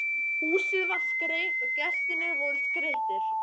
Húsið var skreytt og gestirnir voru skreyttir.